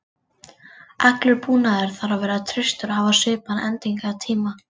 Allur búnaður þarf að vera traustur og hafa svipaðan endingartíma.